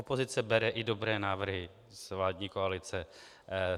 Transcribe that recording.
Opozice bere i dobré návrhy z vládní koalice.